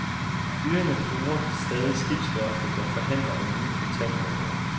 Fyringer truer stadig skibsværftet, der forhandler om nye kontantordrer.